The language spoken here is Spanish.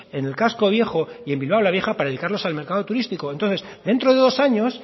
en el casco viejo y en bilbao la vieja para dedicarlos al mercado turístico entonces dentro de dos años